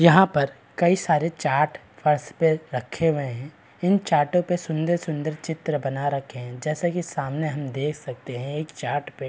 यहाँ पर कई सारे चार्ट फर्श पे रखे हुए हैं इन चार्टो पर सुंदर-सुंदर चित्र बना रखे है जैसे की सामने हम देख सकते है चार्ट पे।